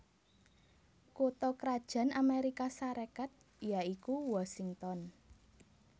Kutha krajan Amérika Sarékat ya iku Washington